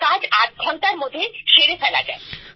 সব কাজ আধ ঘন্টার মধ্যে সেরে ফেলা যায়